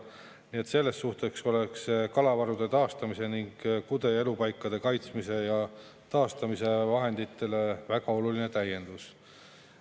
Nii et selles suhtes oleks kalavarude taastamise ning kude- ja elupaikade kaitsmise ja taastamise vahenditele väga oluline täiendus.